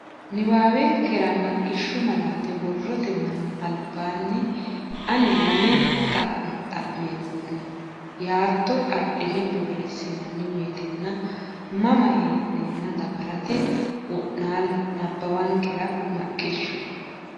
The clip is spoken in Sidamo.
Nabbawankera Maqishshu malaate borrote manni albaanni ani lame xa mo xa meemmo ne yaatto adhine boorreessinanni woyte mma nenna dawarate wo naalle Nabbawankera Maqishshu.